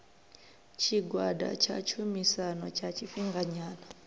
tshigwada tsha tshumisano tsha tshifhinganyana